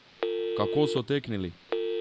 Kako so teknili!